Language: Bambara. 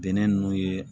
Bɛnɛ nunnu ye